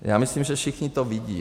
Já myslím, že všichni to vidí.